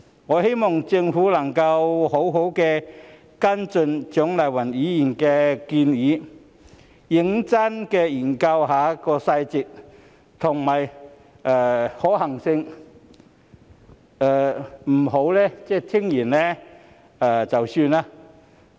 我希望政府能夠好好跟進蔣麗芸議員的建議，認真研究當中的細節和可行性，不要聽完便算。